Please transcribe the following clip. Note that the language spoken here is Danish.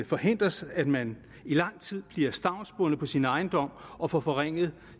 forhindres at man i lang tid bliver stavnsbundet på sin ejendom og får forringet